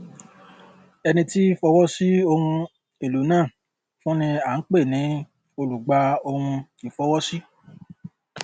ẹni tí fọwọ sí ohun èlò náà fún ni à ń pè ní olùgbàohunìfọwọsí